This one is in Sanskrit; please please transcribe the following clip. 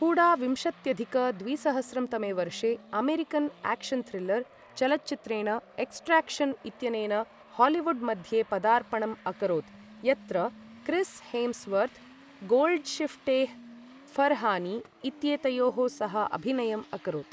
हूडा विंशत्यधिक द्विसहस्रं तमे वर्षे अमेरिकन् आक्शन् थ्रिल्लर् चलच्चित्रेण एक्सट्राक्शन् इत्यनेन हालीवुड् मध्ये पदार्पणम् अकरोत्, यत्र क्रिस् हेम्स्वर्त्, गोल्ड्शिफ्टेह् फरहानी इत्येतयोः सह अभिनयम् अकरोत्।